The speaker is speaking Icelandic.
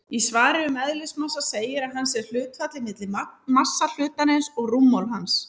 Í svari um eðlismassa segir að hann sé hlutfallið milli massa hlutarins og rúmmáls hans.